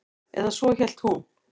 Eða svo hélt hún.